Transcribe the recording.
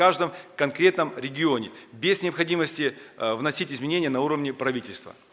каждом конкретном регионе без необходимости вносить изменения на уровне правительства